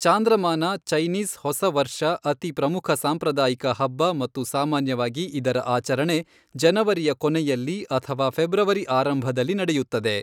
ಚಾಂದ್ರಮಾನ Chinese ಹೊಸ ವರ್ಷಅತಿ ಪ್ರಮುಖ ಸಾಂಪ್ರದಾಯಿಕ ಹಬ್ಬ ಮತ್ತು ಸಾಮಾನ್ಯವಾಗಿ ಇದರ ಆಚರಣೆ ಜನವರಿಯ ಕೊನೆಯಲ್ಲಿ ಅಥವಾ ಫೆಬ್ರವರಿ ಆರಂಭದಲ್ಲಿ ನಡೆಯುತ್ತದೆ.